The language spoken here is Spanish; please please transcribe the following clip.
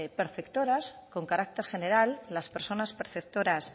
perceptoras con carácter general las personas perceptoras